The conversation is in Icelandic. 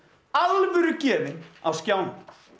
alvörugefinn á skjánum